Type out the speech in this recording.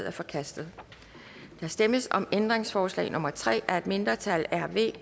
er forkastet der stemmes om ændringsforslag nummer tre af et mindretal